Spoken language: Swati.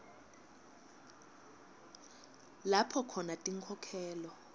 lapho khona tinkhokhelo